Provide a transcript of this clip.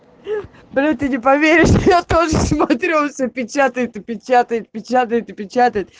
бля ты не поверишь я тоже смотрю всё печатает и печатает печатает и печатает